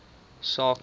saak moes